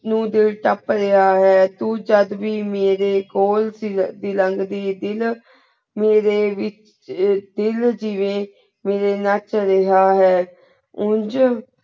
ਕ੍ਯੂਂ ਦਿਲ ਟਾਪ ਰਾਯ੍ਹਾ ਹੈ ਤੂ ਜਦ ਵੀ ਮਾਰੀ ਖੋਲ ਸੀ ਦੀ ਲਾੰਗ ਦੀ ਮੇਰੇ ਵਿਚ ਆਯ ਦਿਲ ਜਿਵੇ ਮੇਰੇ ਨਾਚ ਰਾਯ੍ਹਾ ਹੈ ਉਂਜ